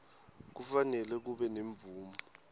kufanele kube nemvume